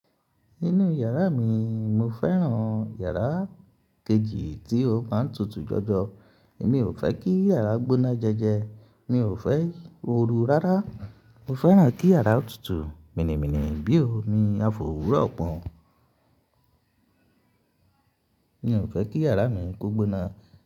Inú yàrá mi, mo fẹ́ràn yàrá kejì tí ó máa ń tutù jọjọ. Èmi ò fẹ́ kí yàrá gbóná jẹ́jẹ́. Mi ò fẹ́ ooru rárá. Mo fẹ́ràn kí yàrá tutù, mìnìmínìì bí ómí afówuró pọ̀n. Mi ò fẹ́ kí yàrá mi kó gbóná.